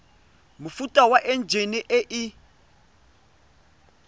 mofuta wa enjine e e